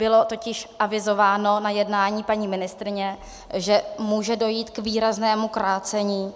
Bylo totiž avizováno na jednání paní ministryně, že může dojít k výraznému krácení